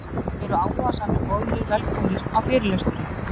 Eru áhugasamir boðnir velkomnir á fyrirlesturinn